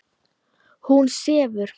Hún sefur.